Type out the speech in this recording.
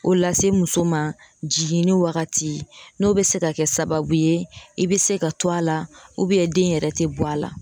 O lase muso ma jiginni wagati . N'o be kɛ sababu ye i be se ka to a la den yɛrɛ tɛ bɔ a la.